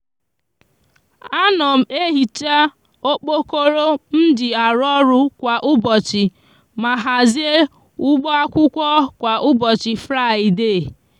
a no m ehicha okpokoro mji aru oru kwa ubochi ma hazie ubo akwukwo kwa ubochi fraide.